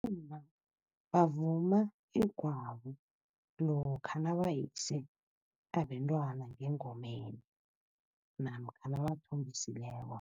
Bomma bavuma igwabo lokha nabayise abentwana ngengomeni namkha nabathombisileko.